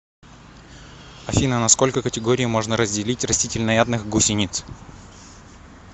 афина на сколько категорий можно разделить растительноядных гусениц